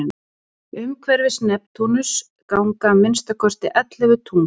umhverfis neptúnus ganga að minnsta kosti ellefu tungl